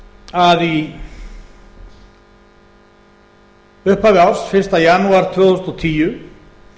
að í upphafi árs fyrsta janúar tvö þúsund og tíu